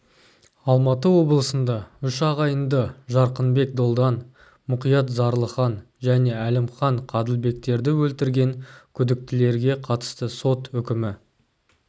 алматы облысында үш ағайынды жарқынбек долдан мұқият зарлыхан және әлімхан қаділбектерді өлтірген күдіктілерге қатысты сот үкімі